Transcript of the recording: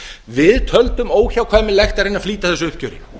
við töldum óhjákvæmilegt að reyna að flýta þessu uppgjöri